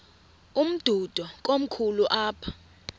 umdudo komkhulu apha